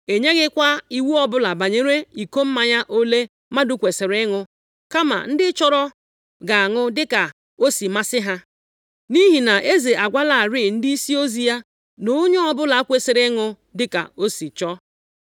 E nyeghịkwa iwu ọbụla banyere iko mmanya ole mmadụ kwesiri ịṅụ kama ndị chọrọ ga-aṅụ dịka o si masị ha. Nʼihi na eze agwalarị ndịisi ozi ya na onye ọbụla kwesiri ịṅụ dịka o si chọọ.